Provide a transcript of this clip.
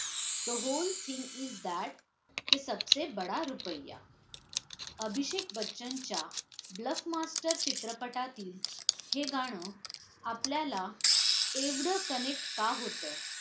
the whole thing is that के सबसे बडा रुपय्या अभिषेक बच्चनच्या ब्लफमास्टर चित्रपटातील हे गाणं आपल्याला एवढं connect का होतं